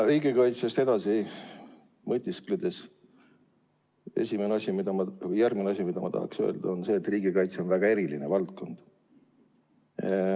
Riigikaitse juurest edasi mõtiskledes on järgmine asi, mida ma tahan öelda, see, et riigikaitse on väga eriline valdkond.